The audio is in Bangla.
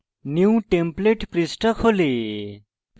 new template পৃষ্ঠা খোলে